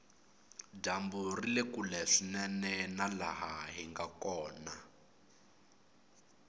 dyambu rile kule swinene na laha hinga kona